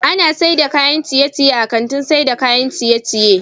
Ana saida kayan ciye ciye a kantin saida kayan ciye ciye